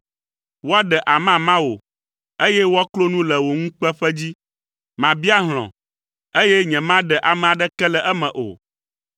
Woaɖe amama wò, eye woaklo nu le wò ŋukpeƒe dzi. Mabia hlɔ̃, eye nyemaɖe ame aɖeke le eme o.”